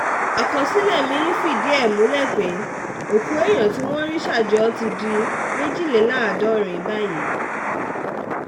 àkọsílẹ̀ mí-ín fìdí ẹ̀ múlẹ̀ pé òkú èèyàn tí wọ́n ti rí ṣà jọ ti di méjìléláàádọ́rin báyìí